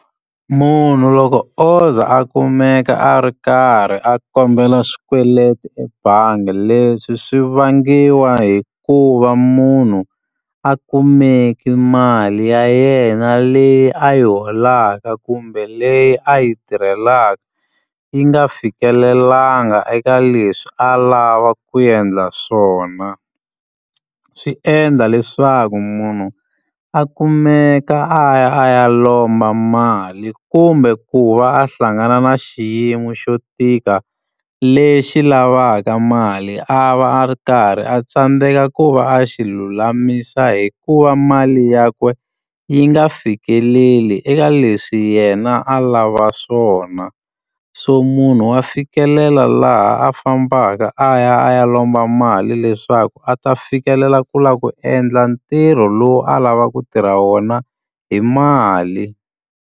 Munhu loko o ze a kumeka a ri karhi a kombela swikweleti ebangi, leswi swi vangiwa hikuva munhu a kumeke mali ya yena leyi a yi holaka kumbe leyi a yi tirhelaka yi nga fikelelangi eka leswi a lava ku endla swona. Swi endla leswaku munhu a kumeka a ya a ya lomba mali kumbe ku va a hlangana na xiyimo xo tika, lexi lavaka mali a va a ri karhi a tsandzeka ku va a xi lulamisa hikuva mali yakwe yi nga fikeleli eka leswi yena a lava swona. So munhu wa fikelela laha a fambaka a ya a ya lomba mali leswaku a ta fikelela ku lava ku endla ntirho lowu a lavaka ku tirha wona hi mali.